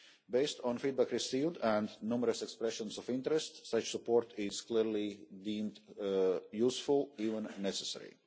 Based on feedback received and numerous expressions of interest, such support is clearly deemed useful, even necessary.